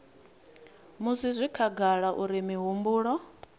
musi zwi khagala uri mihumbulo